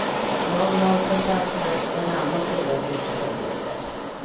Jag har kontakt med en annan storasyster som bor där.